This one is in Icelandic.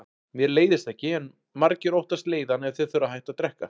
Mér leiðist ekki, en margir óttast leiðann ef þeir þurfa að hætta að drekka.